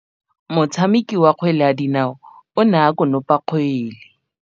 Motshameki wa kgwele ya dinaô o ne a konopa kgwele.